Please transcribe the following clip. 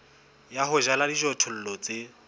ya ho jala dijothollo tse